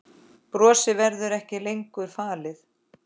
Brosið verður ekki lengur falið.